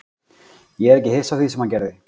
Ég er ekki hissa á því sem hann gerði.